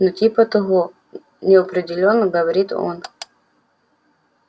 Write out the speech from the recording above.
ну типа того неопределённо говорит он